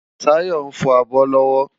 Tayo nfò ábò lòwò